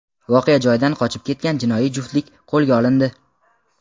voqea joyidan qochib ketgan jinoiy juftlik qo‘lga olindi.